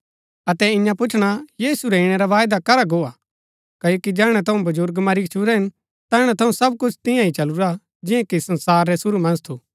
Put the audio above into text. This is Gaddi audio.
अतै इन्या पुछणा यीशु रै ईणै रा वायदा करा गो हा क्ओकि जैहणै थऊँ बजुर्ग मरी गच्छुरै हिन तैहणै थऊँ सब कुछ तियां ही चलुरा जिआं कि संसार रै शुरू मन्ज थू